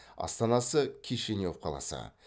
астанасы кишинев қаласы